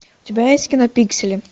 у тебя есть кино пиксели